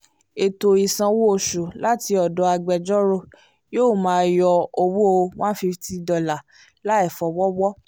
ẹ̀tọ́ ìsan owó oṣù láti ọ̀dọ̀ agbẹjọ́rò yóò máa yọ owó one fifty dollar láìfọwọ́wọ́